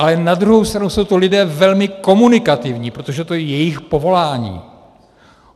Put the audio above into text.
Ale na druhou stranu jsou to lidé velmi komunikativní, protože je to jejich povolání.